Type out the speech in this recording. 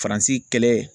Faransi kɛlɛ